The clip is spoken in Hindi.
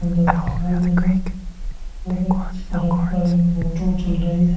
सुन्दर दिखाई दे रहे हैं और एक सड़क पर एक ऑटो चल रही है ।